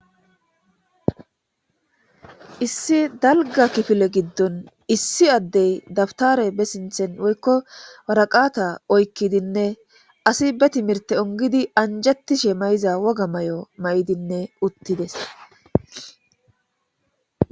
issi dalga kifile giddon issi addey dabtare be sinthen woykko waraqata oykkidinne asi be timirte ongidi anjettishe may7iza woga may7o may7idinne uttides